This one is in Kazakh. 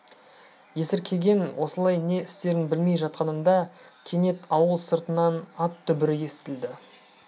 есіркеген осылай не істерін білмей жатқанында кенет ауыл сыртынан ат дүбірі естілді